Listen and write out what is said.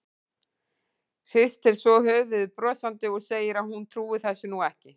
Hristir svo höfuðið brosandi og segir að hún trúi þessu nú ekki.